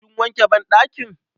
Kin wanke banɗakin?